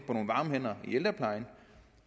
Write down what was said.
på nogle varme hænder i ældreplejen